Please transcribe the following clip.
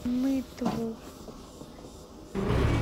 нытву